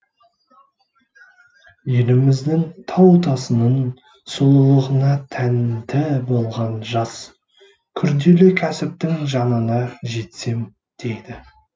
еліміздің тау тасының сұлулығына тәнті болған жас күрделі кәсіптің жанына жетсем дейді